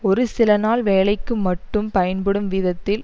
ஒரு சில நாள் வேலைக்கு மட்டும் பயன்படும் விதத்தில்